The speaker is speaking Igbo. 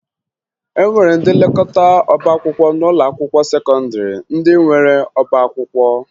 E nwere ndị nlekọta ọbaakwụkwọ n'ụlọakwụkwọ sekọndịrị ndị nwere ọbaakwụkwọ